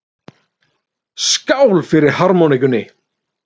Skál fyrir harmonikkunni!